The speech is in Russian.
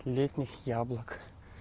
летних яблок